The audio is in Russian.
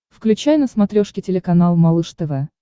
включай на смотрешке телеканал малыш тв